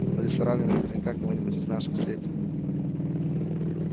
в ресторане наверняка кого-нибудь из наших встретим